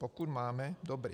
Pokud máme, dobře.